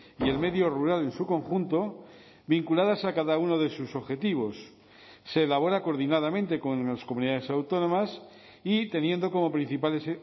y el medio rural en su conjunto vinculadas a cada uno de sus objetivos se elabora coordinadamente con las comunidades autónomas y teniendo como principales